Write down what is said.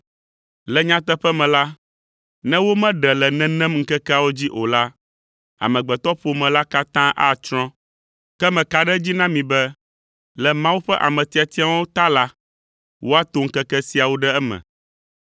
“Le nyateƒe me la, ne womeɖe le nenem ŋkekeawo dzi o la, amegbetɔƒome la katã atsrɔ̃. Ke meka ɖe edzi na mi be le Mawu ƒe ame tiatiawo ta la, woato ŋkeke siawo ɖe eme.